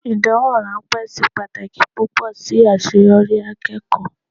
Ìdánwò ráńpẹ́ ṣe pàtàkì púpọ̀ sí àṣeyọrí akẹ́kọ̀ọ́.